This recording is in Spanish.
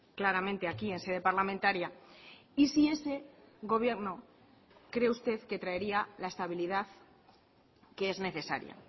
claramente aquí en sede parlamentaria y si ese gobierno cree usted que traería la estabilidad que es necesaria